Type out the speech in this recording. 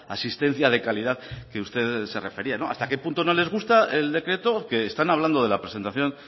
asistencia de calidad a la que usted se refería hasta qué punto no les gusta el decreto que están hablando de la presentación